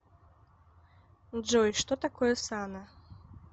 джой что такое сана